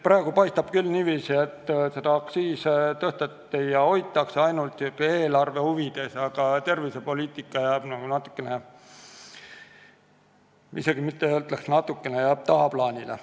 Praegu paistab küll niiviisi, et aktsiise tõsteti ja hoitakse kõrgel ainult eelarve huvides, aga tervisepoliitika jääb natuke tagaplaanile.